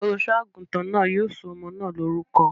Olùṣọ́-àgùntàn náà yóò sọ ọmọ náà lórúkọ.